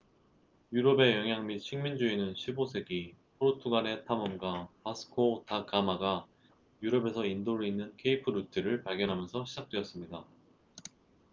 유럽의 영향 및 식민주의는 15세기 포르투갈의 탐험가 바스코 다 가마vasco da gama가 유럽에서 인도를 잇는 케이프 루트cape route를 발견하면서 시작되었습니다